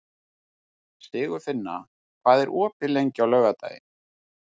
Sigurfinna, hvað er opið lengi á laugardaginn?